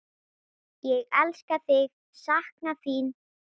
Ég elska þig, sakna þín.